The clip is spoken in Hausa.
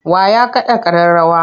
Wa ya kaɗa ƙararrawa?